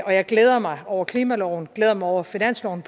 og jeg glæder mig over klimaloven og glæder mig over finansloven